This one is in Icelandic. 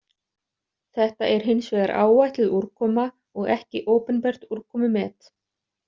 Þetta er hins vegar áætluð úrkoma og ekki opinbert úrkomumet.